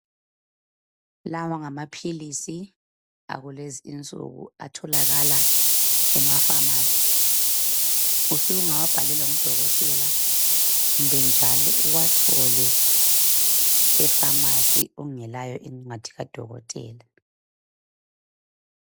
Lawa ngamaphilisi akulezi insuku atholakala emapharmacy usungawabhalelwa ngudokotela kumbe njalo uwathole epharmacy ungelayo incwadi kadokotela.